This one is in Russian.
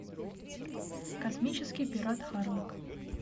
космический пират харлок